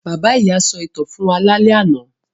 Bàbá-ìy sọ ìtàn fún wa lálẹ́ àná.